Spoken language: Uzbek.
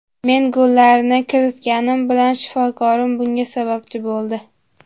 Men gollarni kiritganim bilan, shifokorim bunga sababchi bo‘ldi”.